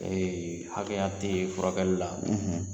Ee hakɛya tɛ furakɛli la, .